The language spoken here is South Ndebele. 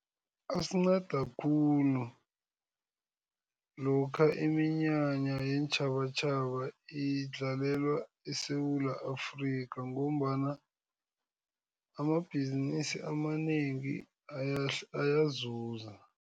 Asinceda khulu, lokha iminyanya yeentjhabatjhaba idlalelwa eSewula Afrika ngombana amabhizinisi amanengi ayazuza.